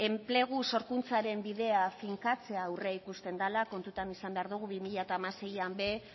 enplegu sorkuntzaren bidea finkatzea aurreikusten dela kontuan izan behar dugu bi mila hamaseian ere